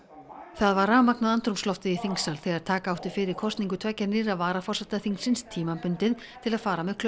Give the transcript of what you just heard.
það var rafmagnað andrúmsloftið í þingsal þegar taka átti fyrir kosningu tveggja nýrra varaforseta þingsins tímabundið til að fara með